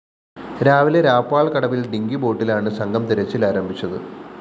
രാവിലെ രാപ്പാള്‍ കടവില്‍ ഡിങ്കി ബോട്ടിലാണ് സംഘം തിരച്ചില്‍ ആരംഭിച്ചത്